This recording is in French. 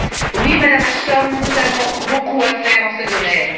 Oui, Madame Ashton, nous avons beaucoup à faire dans ce domaine.